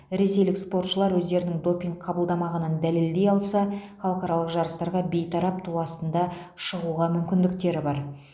ресейлік спортшылар өздерінің допинг қабылдамағанын дәлелдей алса халықаралық жарыстарға бейтарап ту астында шығуға мүмкіндіктері бар